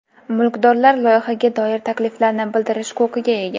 Mulkdorlar loyihaga doir takliflarni bildirish huquqiga ega.